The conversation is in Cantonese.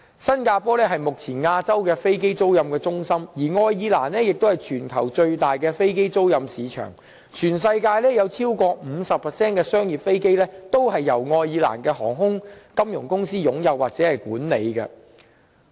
新加坡是目前亞洲的飛機租賃中心，而愛爾蘭則為全球最大的飛機租賃市場，全世界超過 50% 的商業飛機均由愛爾蘭航空及金融公司擁有或管理。